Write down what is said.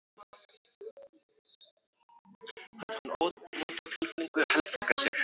Hann fann ónotatilfinningu heltaka sig.